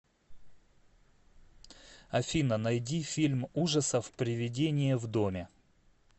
афина найди фильм ужасов привидение в доме